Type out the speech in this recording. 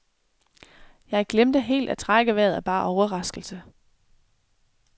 Jeg glemte helt at trække vejret af bare overraskelse.